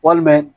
Walima